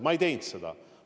Ma ei teinud seda.